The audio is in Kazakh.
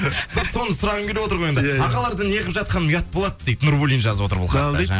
соны сұрағым келіп отыр ғой енді ағалардың неғып жатқаны ұят болады дейді нурбуллин жазып отыр бұл хатты